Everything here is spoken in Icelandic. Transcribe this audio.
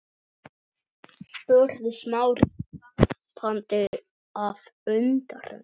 spurði Smári gapandi af undrun.